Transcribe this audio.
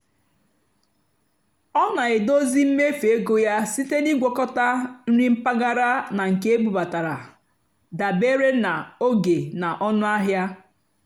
ọ́ nà-èdózì mméfú égó yá síte nà ị́gwàkọ́tá nrì mpàgàrà nà nkè ébúbátàrá dàbérè nà ógè nà ónúàhịá.